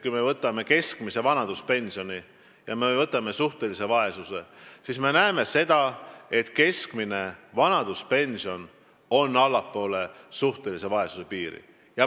Kui me võtame keskmise vanaduspensioni ja kui me võtame suhtelise vaesuse, siis me näeme seda, et keskmine vanaduspension on allpool suhtelise vaesuse piiri.